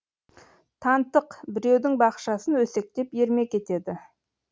тантық біреудің бақшасын өсектеп ермек етеді